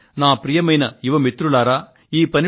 కానీ ప్రియమైన నా యువ మిత్రులారా